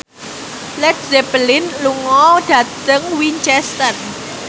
Led Zeppelin lunga dhateng Winchester